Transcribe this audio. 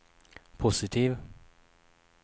positiv